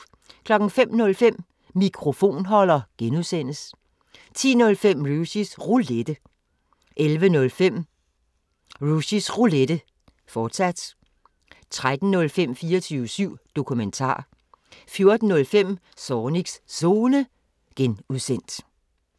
05:05: Mikrofonholder (G) 10:05: Rushys Roulette 11:05: Rushys Roulette, fortsat 13:05: 24syv Dokumentar 14:05: Zornigs Zone (G)